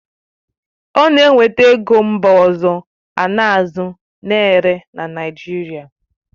Ọ na-eweta ego mba ọzọ a na-azụ na-ere na Naijiria